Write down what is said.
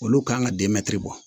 Olu kan ka bɔ